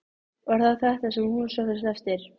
Var það þetta sem hún sóttist eftir?